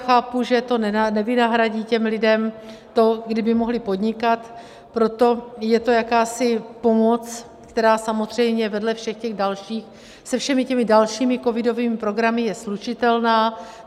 Chápu, že to nevynahradí těm lidem to, kdyby mohli podnikat, proto je to jakási pomoc, která samozřejmě vedle všech těch dalších, se všemi těmi dalšími covidovými programy je slučitelná.